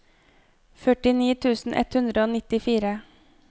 førtini tusen ett hundre og nittifire